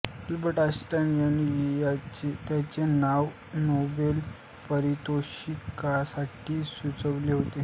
Albert Einstein यांनी त्यांचे नाव नोबेल पारितोषिकासाठी सुचवले होते